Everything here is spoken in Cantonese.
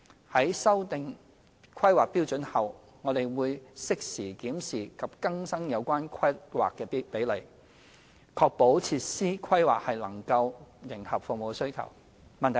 在修訂《規劃標準》後，我們亦會適時檢視及更新有關規劃比率，確保設施規劃能迎合服務需求。